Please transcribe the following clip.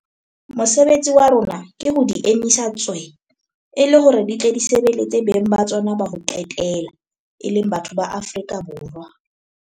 Mosebetsi wa rona ke ho di emisa tswee, e le hore di tle di sebeletse beng ba tsona ba ho qetela - e leng batho ba Afrika Borwa.